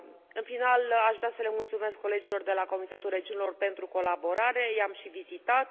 În final, aș vrea să le mulțumesc colegilor de la Comitetul Regiunilor pentru colaborare, i am și vizitat.